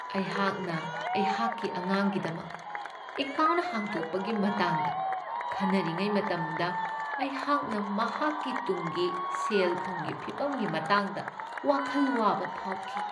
ꯑꯩꯍꯥꯛꯅ ꯑꯩꯍꯥꯛꯀꯤ ꯑꯉꯥꯡꯒꯤꯗꯃꯛ ꯑꯦꯀꯥꯎꯟꯠ ꯍꯥꯡꯗꯣꯛꯄꯒꯤ ꯃꯇꯥꯡꯗ ꯈꯟꯅꯔꯤꯉꯩ ꯃꯇꯝꯗ, ꯑꯩꯍꯥꯛꯅ ꯃꯍꯥꯛꯀꯤ ꯇꯨꯡꯒꯤ ꯁꯦꯜ ꯊꯨꯝꯒꯤ ꯐꯤꯚꯝꯒꯤ ꯃꯇꯥꯡꯗ ꯋꯥꯈꯜ ꯋꯥꯕ ꯐꯥꯎꯈꯤ꯫